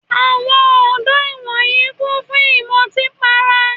Àwọn ọ̀dọ́ ìwòyí kún fún ìmọtí para.